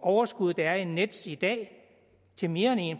overskud der er i nets i dag til mere end en